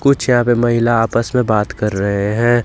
कुछ यहां पे महिला आपस में बात कर रहे हैं।